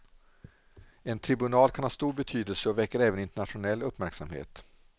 En tribunal kan ha stor betydelse och väcker även internationell uppmärksamhet.